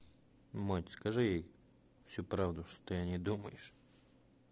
мать скажи ей всю правду что о ней думаешь